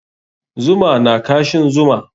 Zuma na kashin zuma.